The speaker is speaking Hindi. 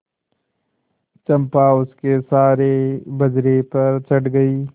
चंपा उसके सहारे बजरे पर चढ़ गई